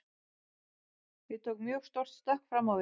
Ég tók mjög stórt stökk fram á við.